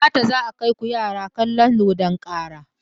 Gata za a kaiku yara kalon dodon kara.